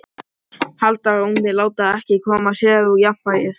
Halda rónni, láta ekkert koma sér úr jafnvægi.